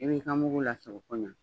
I b'i ka mugu lasɔrɔ ko ɲa